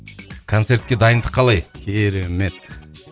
концертке дайындық қалай керемет